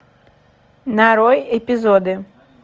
нарой эпизоды